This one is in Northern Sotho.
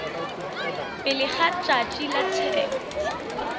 pele ga tšatši la tsheko